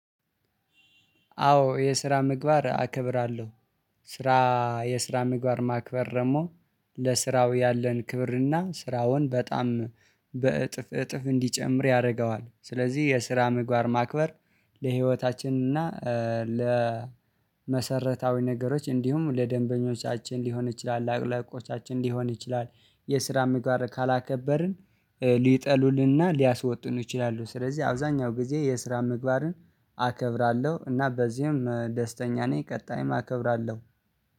አዎ የስራ ምግባር አከብራለሁ። ስራ የስራ ምግባር ማክበር ደግሞ ለስራው ያለን ክብር እና ስራውን በጣም በእጥፍ እጥፍ እንዲጨምር ያደርገዋል ስለዚህ የስራ ምግባር ማክበር። ለህይወታችን እና ለመሰረታዊ ነገሮች እንዲሁም ለደንበኞቻችን ሊሆን ይችላል ለአለቆቻችን ሊሆን ይችላል። የስራም ጋር ካላከበርን ሊጠሉልንና ሊያስወጡን ይችላሉ። ስለዚህ አብዛኛው ጊዜ የስራ ምግባርን አከብራለሁ እና በዚህም ደስተኛ ነኝ። ቀጣይም አከብራለሁ